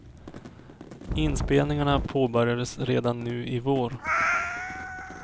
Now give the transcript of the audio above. Inspelningarna påbörjas redan nu i vår.